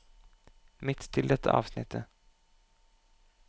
Midtstill dette avsnittet